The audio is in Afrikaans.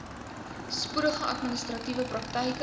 spoedige administratiewe praktyke